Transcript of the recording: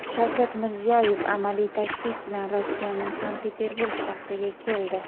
Shavkat Mirziyoyev amaliy tashrif bilan Rossiyaning Sankt-Peterburg shahriga keldi.